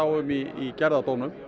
um í gerðardómum